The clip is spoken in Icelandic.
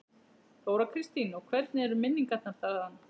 Þóra Kristín: Og hvernig eru minningarnar þaðan?